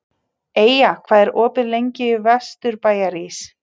Eyja, hvað er opið lengi í Vesturbæjarís?